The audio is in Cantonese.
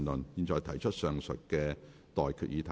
我現在向各位提出上述待決議題。